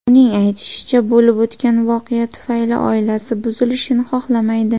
Uning aytishicha, bo‘lib o‘tgan voqea tufayli oilasi buzilishini xohlamaydi.